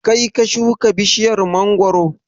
Kaii ka shuka bishiyar mangoro?